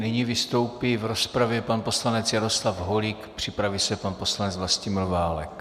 Nyní vystoupí v rozpravě pan poslanec Jaroslav Holík, připraví se pan poslanec Vlastimil Válek.